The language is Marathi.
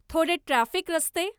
थोडे ट्राफिक रस्ते